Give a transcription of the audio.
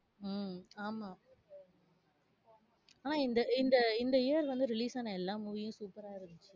உம் ஆமா. ஆனா இந்த, இந்த இந்த year வந்து release ஆன எல்லா movie யும் super ரா இருன்ச்சு